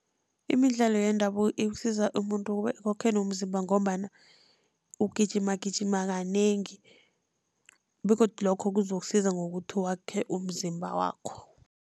Imidlalo yendabuko ikusiza umuntu kube nomzimba, ngombana ugijima gijima kanengi begodu lokho kuzokusiza ngokuthi wakhe umzimba wakho.